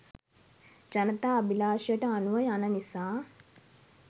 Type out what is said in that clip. ජනතා අභිලාෂයට අනුව යන නිසා